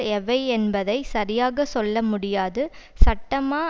எவை என்பதை சரியாக சொல்ல முடியாது சட்டமா